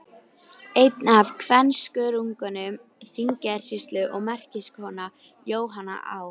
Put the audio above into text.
Einn af kvenskörungum Þingeyjarsýslu og merkiskona, Jóhanna Á.